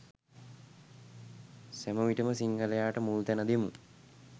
සැම විටම සිංහලයාට මුල් තැන දෙමු.